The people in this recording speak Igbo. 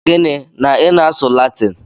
Gịnị? Na i na-asụ Latin!